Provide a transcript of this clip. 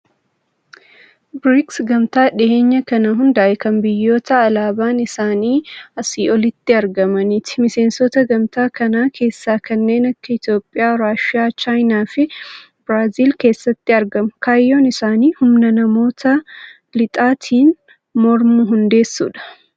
Biriiksi, Gamtaa dhiyeenya kana hundaa'e kan biyyoota alaabaan isaanii asii olitti argamaniiti. Miseensota gamtaa kanaa keessaa kanneen akka Itiyoophiyaa, Raashiyaa, Chaayinaa fi Biraaziil keesatti argamu. Kaayyoon isaanii humna biyyoota lixaatiin mormu hundeessudha.